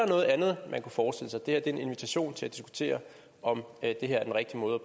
noget andet man kunne forestille sig det her er en invitation til at diskutere om det her er den rigtige måde